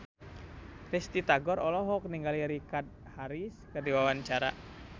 Risty Tagor olohok ningali Richard Harris keur diwawancara